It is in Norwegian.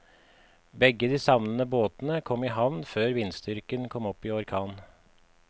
Begge de savnede båtene kom i havn før vindstyrken kom opp i orkan.